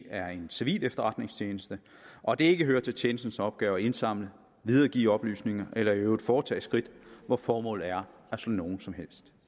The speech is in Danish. er en civil efterretningstjeneste og at det ikke hører til tjenestens opgaver at indsamle og videregive oplysninger eller i øvrigt foretage skridt hvor formålet er at slå nogen